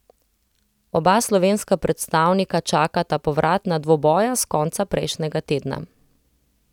Oba slovenska predstavnika čakata povratna dvoboja s konca prejšnjega tedna.